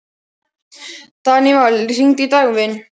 Daníval, hringdu í Dagvin.